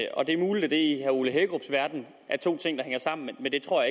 og det er muligt at det i herre ole hækkerups verden er to ting der hænger sammen men det tror